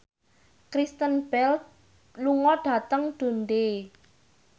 Kristen Bell lunga dhateng Dundee